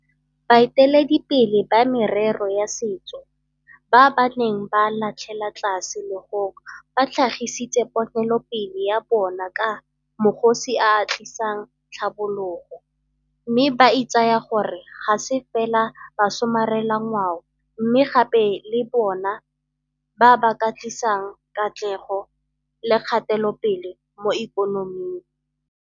Baeteledipele ba merero ya setso ba ba neng ba latlhela tlhase legong ba tlhagisitse ponelopele ya bona ka 'magosi a a tlisang tlhabologo' mme ba itsaya gore ga se fela basomarelangwao mme gape ke bona ba ba ka tlisang katlego le kgatelopele mo ikonoming.